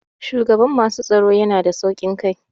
Shugaban masu tsaro yana da sauƙin kai.